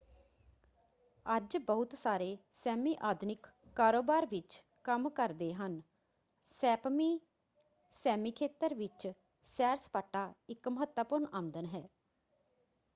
ਅੱਜ ਬਹੁਤ ਸਾਰੇ ਸੈਮੀ ਆਧੁਨਿਕ ਕਾਰੋਬਾਰ ਵਿੱਚ ਕੰਮ ਕਰਦੇ ਹਨ। ਸੈਪਮੀ ਸੈਮੀ ਖੇਤਰ ਵਿੱਚ ਸੈਰ-ਸਪਾਟਾ ਇੱਕ ਮਹੱਤਵਪੂਰਨ ਆਮਦਨ ਹੈ।